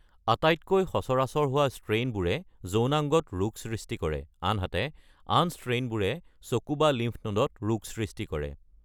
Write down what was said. আটাইতকৈ সচৰাচৰ হোৱা ষ্ট্ৰেইনবোৰে যৌনাংগত ৰোগ সৃষ্টি কৰে, আনহাতে আন ষ্ট্ৰেইনবোৰে চকু বা লিম্ফ নোডত ৰোগ সৃষ্টি কৰে।